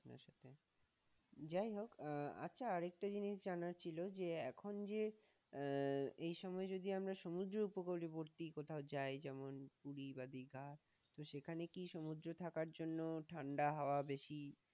যাইহোক আচ্ছা একটা জিনিস জানার ছিল যে এখন যে, আহ এই সময় যদি আমরা সমুদ্র উপকূলবর্তী কোথায় যায় যেমন পুরি বা দিঘা, তো সেখানে কি সমুদ্রে থাকার জন্য ঠান্ডা হওয়া বেশি?